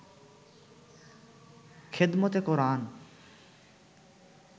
খেদমতে কোরআন